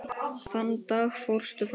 Þann dag fórstu frá okkur.